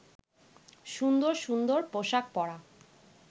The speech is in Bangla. সুন্দর সুন্দর পোশাক পরা